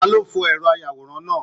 Ta ló fọ ẹrọ ayàwòrán náà?